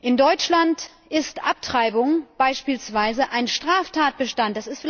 In Deutschland ist Abtreibung beispielsweise ein Straftatbestand.